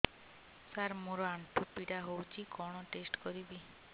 ସାର ମୋର ଆଣ୍ଠୁ ପୀଡା ହଉଚି କଣ ଟେଷ୍ଟ କରିବି